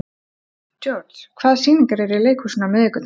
George, hvaða sýningar eru í leikhúsinu á miðvikudaginn?